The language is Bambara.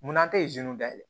Munna tɛ dayɛlɛ